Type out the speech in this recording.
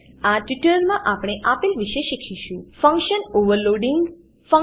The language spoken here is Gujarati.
આ ટ્યુટોરીયલમાં આપણે આપેલ વિશે શીખીશું ફંકશન ઓવરલોડિંગ ફંક્શન ઓવરલોડીંગ